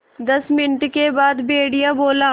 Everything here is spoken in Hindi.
दस मिनट के बाद भेड़िया बोला